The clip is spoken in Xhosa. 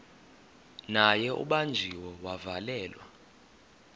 naye ubanjiwe wavalelwa